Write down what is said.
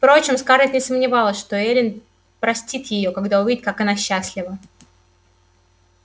впрочем скарлетт не сомневалась что эллин простит её когда увидит как она счастлива